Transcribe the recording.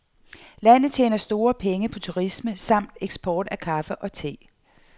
Landet tjener store penge på turisme samt eksport af kaffe og te.